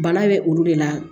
Bana bɛ olu de la